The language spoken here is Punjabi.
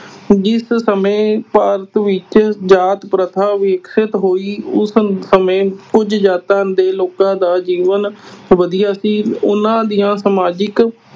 ਜਿਸ ਸਮੇਂ ਭਾਰਤ ਵਿੱਚ ਜਾਤੀ ਪ੍ਰਥਾ ਵਿਕਸਿਤ ਹੋਈ ਉਸ ਸਮੇਂ ਕੁਝ ਜਾਤਾਂ ਦੇ ਲੋਕਾਂ ਦਾ ਜੀਵਨ ਵਧੀਆ ਸੀ। ਉਨ੍ਹਾਂ ਦੀਆਂ ਸਮਾਜਿਕ